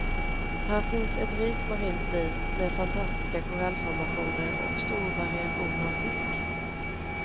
Här finns ett rikt marint liv med fantastiska korallformationer och stor variation av fisk.